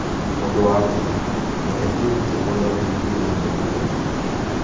Ũndũ wa kerĩ, reke twĩrute ũrĩa tũngĩgeithia ageni aitũ